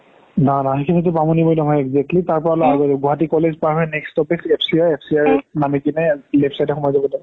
বামোনিমইদাম exactly তাৰ পৰাই আগত গুৱাহাতি college পাহ হৈ next stoppage FCR FCR ৰ নামি কিনে সোমাই যাব লাগে